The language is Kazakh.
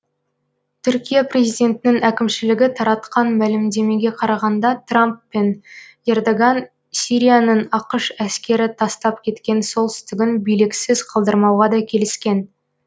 түркия президентінің әкімшілігі таратқан мәлімдемеге қарағанда трамп пен ердоған сирияның ақш әскері тастап кеткен солтүстігін биліксіз қалдырмауға да келіскен